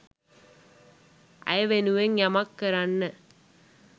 ඇය වෙනුවෙන් යමක් කරන්න